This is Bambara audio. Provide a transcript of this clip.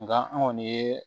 Nga an kɔni ye